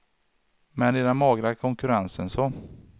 Men i den magra konkurrensen så.